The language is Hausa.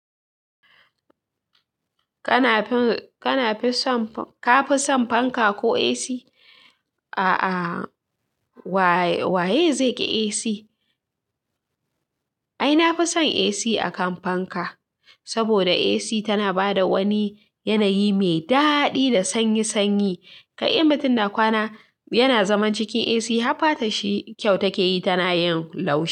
Ka nafi son fanka ko AC? Ah ah waye zaiƙi AC ai nafi son AC akan fanka saboda AC tana bada wani yanayi me dadi da sanyi. Kai mutum na kwana yana zaman cikin AC har fata shi kyau take yi, tana yin laushi.